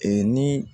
ni